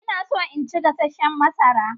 Ina so in ci gasasshen masara.